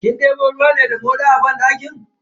Kin debo ruwa ne da moɗan banɗakin?